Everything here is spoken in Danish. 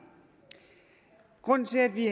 grunden til at vi